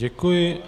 Děkuji.